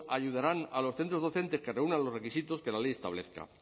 ayudarán a los centros docentes que reúnan los requisitos que la ley establezca